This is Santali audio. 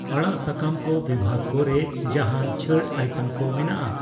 ᱟᱲᱟᱜ ᱥᱟᱠᱟᱢ ᱠᱚ ᱵᱤᱵᱷᱟᱹᱜ ᱨᱮ ᱡᱟᱦᱟᱸᱱ ᱪᱷᱟᱹᱲ ᱟᱭᱴᱮᱢ ᱠᱚ ᱢᱮᱱᱟᱜᱼᱟ ?